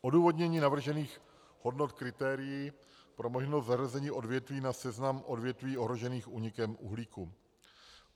odůvodnění navržených hodnot kritérií pro možnost zařazení odvětví na seznam odvětví ohrožených únikem uhlíku.